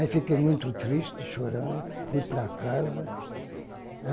Aí fiquei muito triste, chorando, fui para casa.